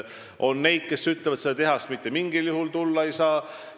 On neid, kes ütlevad, et seda tehast mitte mingil juhul tulla ei saa.